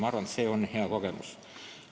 Ma arvan, et see on hea kogemus.